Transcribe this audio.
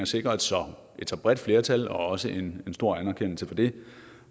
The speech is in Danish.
sikre et så bredt flertal og også en stor anerkendelse for det